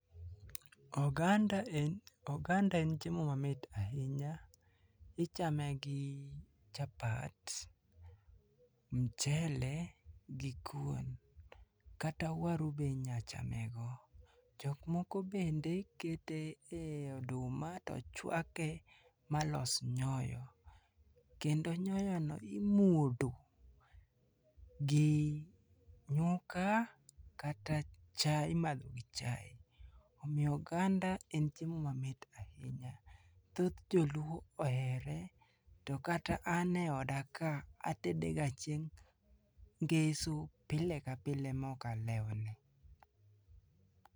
Oganda en oganda en chiemo mamit ahinya. Ichame gi chapat, mchele gi kuon. Kata waru be inyachamego. Jok moko bende kete ei oduma tochuake malos nyoyo, kendo nyoyono imuodo gi nyuka kata cha imadho gi chae. Omiyo oganda en chiemo mamit ahinya. Thoth joluo ohere to kata an eodaka atedega chieng' ngeso pile ka pile maok alewone.